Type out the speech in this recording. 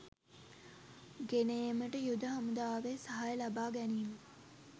ගෙන ඒමට යුද හමුදාවේ සහාය ලබා ගැනීම